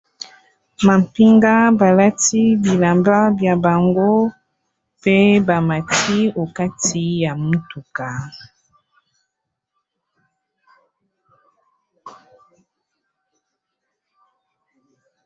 Mampinga balati bilamba bya bango pe ba mati okati ya motuka.